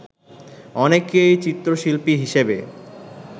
অনেকেই চিত্রশিল্পী হিসেবে